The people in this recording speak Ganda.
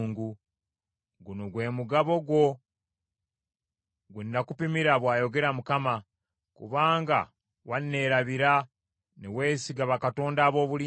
Guno gwe mugabo gwo gwe nakupimira,” bw’ayogera Mukama , “kubanga wanneerabira ne weesiga bakatonda ab’obulimba.